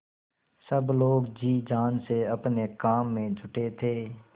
सब लोग जी जान से अपने काम में जुटे थे